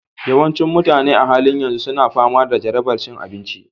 Yawancin mutane a halin yanzu suna fama da jarabar cin abinci